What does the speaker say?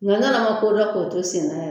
Nga yann'an ka ko dɔn ko to senna